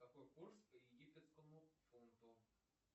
какой курс по египетскому фунту